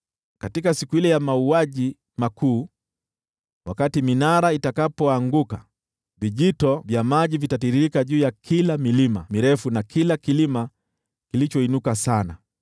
Katika siku ile ya mauaji makuu, wakati minara itakapoanguka, vijito vya maji vitatiririka juu ya kila mlima mrefu na kila kilima kilichoinuka sana.